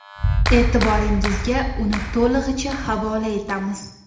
E’tiboringizga uni to‘lig‘icha havola etamiz.